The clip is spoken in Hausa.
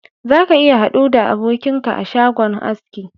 Za ka iya hadu da abokinka a shagon haski